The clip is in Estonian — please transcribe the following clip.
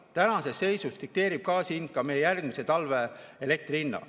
Tänases seisus dikteerib gaasi hind ka meie järgmise talve elektri hinna.